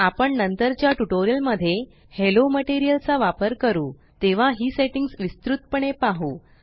आपण नंतरच्या ट्यूटोरियल मध्ये हालो मटेरियल चा वापर करू तेव्हा ही सेट्टिंग्स विस्तृत पणे पाहु